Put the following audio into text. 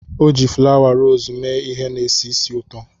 O ji fulawa rosii mee ihe na-esi ísì ụtọ.